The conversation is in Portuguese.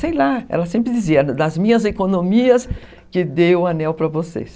Sei lá, ela sempre dizia, das minhas economias, que deu o anel para vocês.